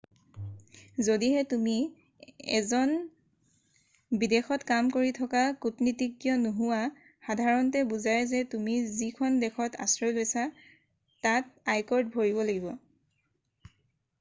যদিহে তুমি এজন বিদেশত কাম কৰি থকা কূটনীতিজ্ঞ নোহোৱা সাধাৰণতে বুজায় যে তুমি যিখন দেশত আশ্ৰয় লৈছা তাত আয়কৰ ভৰিব লাগিব